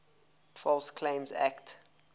false claims act